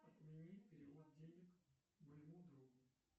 отмени перевод денег моему другу